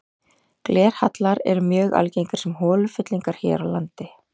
Glerhallar eru mjög algengir sem holufyllingar hér á landi.